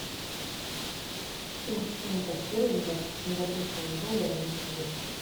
курс фунтов стерлингов к сингапурскому доллару на сегодня